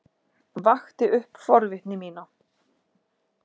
Vakti upp forvitni mína.